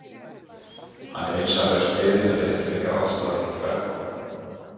Hann er vinsamlegast beðinn að vera ekki með grátstafinn í kverkunum.